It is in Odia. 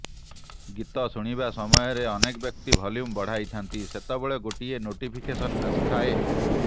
ଗୀତ ଶୁଣିବା ସମୟରେ ଅନେକ ବ୍ୟକ୍ତି ଭଲ୍ୟୁମ୍ ବଢାଇଥାନ୍ତି ସେତେବେଳେ ଗୋଟିଏ ନୋଟିଫିକେସନ୍ ଆସିଥାଏ